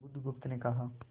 बुधगुप्त ने कहा